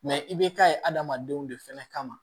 Mɛ i bɛ taa ye adamadenw de fɛnɛ kama